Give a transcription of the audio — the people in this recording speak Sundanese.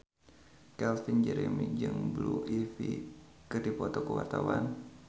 Calvin Jeremy jeung Blue Ivy keur dipoto ku wartawan